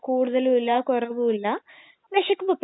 കുഴപ്പമില്ല എല്ലാരും കഴിക്കും പിന്നെ